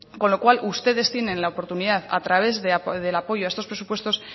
con lo cual ustedes tienen la oportunidad a través del apoyo a estos presupuestos